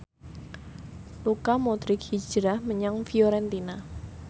Luka Modric hijrah menyang Fiorentina